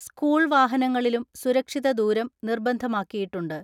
School വാഹനങ്ങളിലും സുരക്ഷിത ദൂരം നിർബന്ധമാക്കിയിട്ടുണ്ട്.